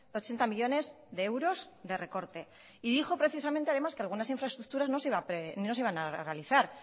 ochenta millónes de euros de recorte y dijo precisamente además que algunas infraestructuras no se iban a realizar